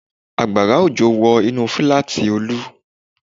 Àgbàrá òjò wọ inú fíláàtì Olú